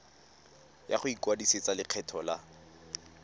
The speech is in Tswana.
ya go ikwadisetsa lekgetho la